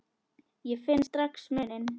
Ég finn strax muninn.